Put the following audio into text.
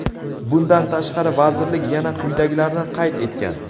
Bundan tashqari, vazirlik yana quyidagilarni qayd etgan:.